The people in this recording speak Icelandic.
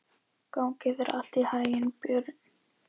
Gangi þér allt í haginn, Björn.